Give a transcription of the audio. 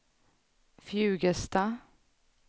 Fjugesta